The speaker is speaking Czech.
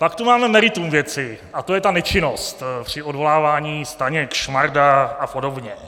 Pak tu máme meritum věci a to je ta nečinnost při odvolávání - Staněk, Šmarda a podobně.